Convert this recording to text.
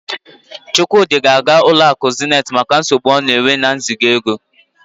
Chukwudi ga-aga ụlọ akụ Zenith maka nsogbu ọ na-enwe n'iziga ego.